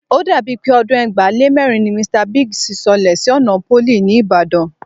O dàbí pé ọdún ẹgbàá lé mẹ́rin ni Mr Biggs sọlẹ̀ sí ọ̀nà Pólì, ní Ìbàdàn